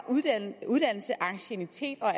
uddannelse anciennitet og